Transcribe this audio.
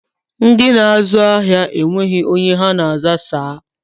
Ndị na-azụ ahịa enweghị onye ha na-aza saa